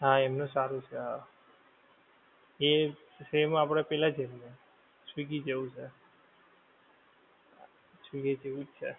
હા એમનું સારું છે હા એ same આપણે પેહલા જેવુ swiggy જેવુ છે. swiggy જેવુ જ છે